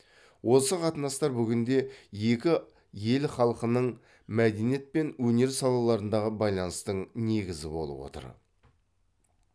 осы қатынастар бүгінде екі ел халқының мәдениет пен өнер салаларындағы байланыстың негізі болып отыр